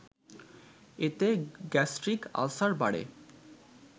এতে gastric ulcer বাড়ে